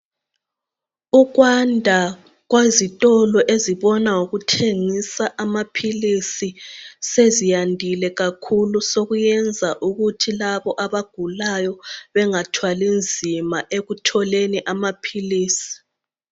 Ukwanda kwezitolo ezibona ngokuthengisa amaphilisi seziyandile kakhulu sokuyenza ukuthi labo abagulayo bengathwali nzima ekutholeni amaphilisi.